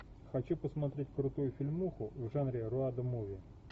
хочу посмотреть крутую фильмуху в жанре роад муви